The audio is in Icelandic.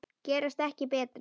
Gerast ekki betri.